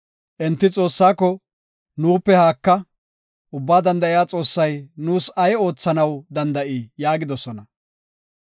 Enti Xoossaako, ‘Nuupe haaka! Ubbaa Danda7iya Xoossay nuus ay oothanaw danda7ii?’ yaagidosona.